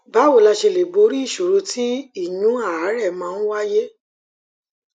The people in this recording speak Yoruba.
báwo la ṣe lè borí ìṣòro tí ìyún àárè máa ń wáyé